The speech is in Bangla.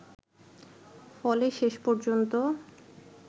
ফলে শেষ পর্যন্ত